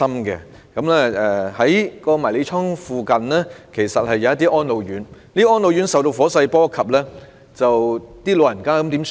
在涉事迷你倉附近的一些安老院亦遭受火勢波及，長者該怎麼辦呢？